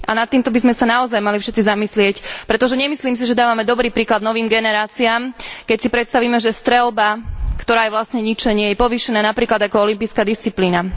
A nad týmto by sme sa naozaj mali všetci zamyslieť, pretože nemyslím si, že dávame dobrý príklad novým generáciám, keď si predstavíme, že streľba, ktorá je vlastne ničenie, je povýšená napríklad ako olympijská disciplína.